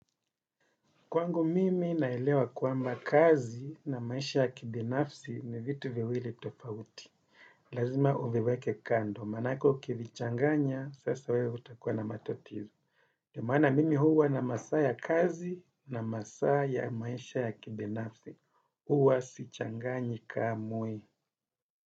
Kwangu mimi naelewa kwamba kazi na maisha ya kibinafsi ni vitu viwili tofauti. Lazima uviweke kando. Manake ukivichanganya, sasa wewe utakua na matatizo. Ndio maana mimi huwa na masaa ya kazi na masaa ya ya maisha ya kibinafsi. Uwa sichanganyi kamwe.